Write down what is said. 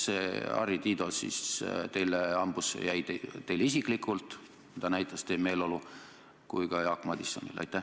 Kuidas see Harri Tiido siis teile hambusse jäi, teile isiklikult – seda peegeldas teie meeleolu – ja ka Jaak Madisonile?